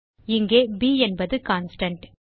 இங்கே ப் என்பது கான்ஸ்டன்ட்